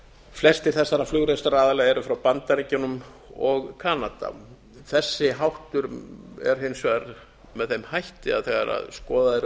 flestir þessara flugrekstraraðila eru frá bandaríkjunum og kanada þessi háttur er hins vegar með þeim hætti að þegar skoðaðar eru